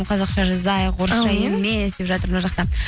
қазақша жазайық емес деп жатыр мына жақта